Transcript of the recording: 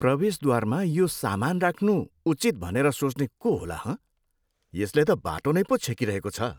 प्रवेशद्वारमा यो सामान राख्नु उचित भनेर सोच्ने को होला हँ? यसले त बाटो नै पो छेकिरहेको छ।